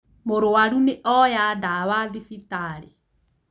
Mũrũaru nĩ oya ndawa thibitarĩ